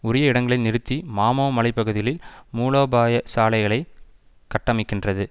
உரிய இடங்களில் நிறுத்தி மாமோ மலை பகுதிகளில் மூலோபாய சாலைகளை கட்டமைக்கின்றது